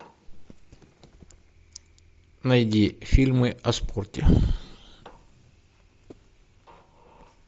найди фильмы о спорте